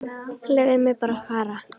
Leyfðu mér að fara.